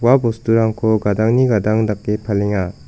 bosturangko gadangni gadang dake palenga.